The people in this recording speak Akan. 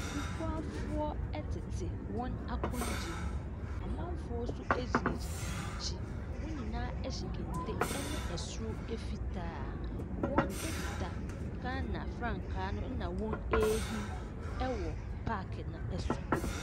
Abubuafoɔ ɛtete wɔn akonwa mu. Amanfoɔ so egyina gyina wɔn akyi. Wɔn nyinaa ɛhyɛ kente ɛne ɛsoro fitaa. Wɔn ekita Ghana frankaa na wɔn ahim ɛwɔ paaki no ɛso.